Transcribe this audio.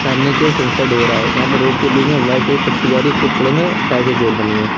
सामने की ओर सन सेड हो रहा है जहां पर रोड के बीच में व्हाईट कलर की पट्टि जा रही है उसके उपड मे रोड बनी है।